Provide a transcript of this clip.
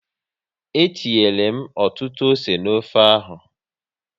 Etinyere m ọtụtụ ose n'ofe ahụ